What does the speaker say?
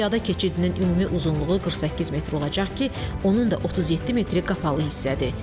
Piyada keçidinin ümumi uzunluğu 48 metr olacaq ki, onun da 37 metri qapalı hissədir.